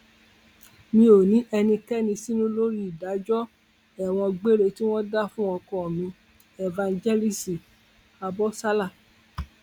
mi ò ní ẹnikẹni sínú lórí ìdájọ ẹwọn gbére tí wọn dá fún ọkọ mi éfànjẹlíìsì abọsálà